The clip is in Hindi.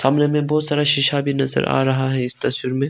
कमरे में बहोत सारा शीशा भी नजर आ रहा है इस तस्वीर में।